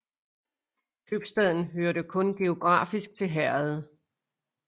Købstaden hørte kun geografisk til herredet